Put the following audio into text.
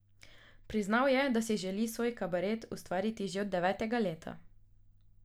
Priznal je, da si želi svoj kabaret ustvariti že od devetega leta.